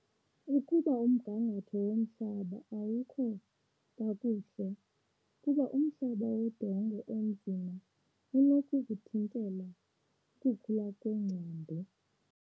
Ukuba umgangatho womhlaba awukho kakuhle, kuba umhlaba wodongo onzima unokukuthintela ukukhula kweengcambu.